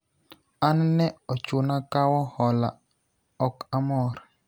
an ne ochuna kawo hola ,ok amor